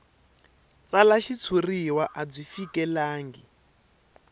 tsala xitshuriwa a byi fikelelangi